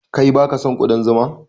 Kai baka son ƙudan zuma?